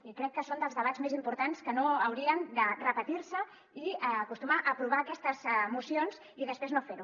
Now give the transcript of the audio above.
i crec que és dels debats més importants que no haurien de repetir·se i acostumar aprovar aquestes mocions i després no fer·ho